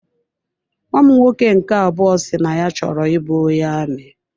Nnwa m nwoke nke abụọ si na ya chọrọ ị bụ onye amị.